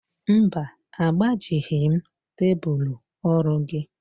Mba, agbajighị m tebulu orụ gị